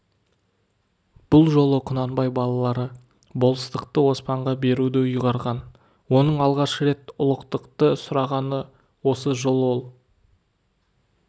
бұл жолы құнанбай балалары болыстықты оспанға беруді ұйғарған оның алғаш рет ұлықтықты сұрағаны осы жол ол